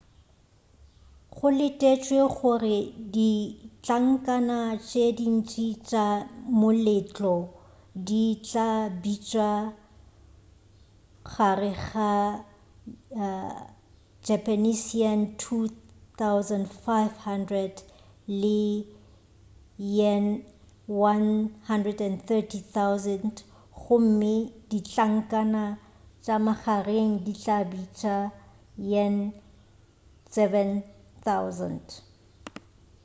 go letetšwe gore ditlankana tše dintši tša moletlo di tla bitša gare ga ¥2,500 le ¥130,000 gomme ditlankana tša magareng di ka bitša bo ¥7,000